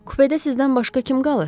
Kupədə sizdən başqa kim qalır?